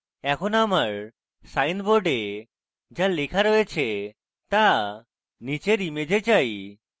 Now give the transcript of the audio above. এখন আমার sign board যা লেখা রয়েছে তা নীচের image চাই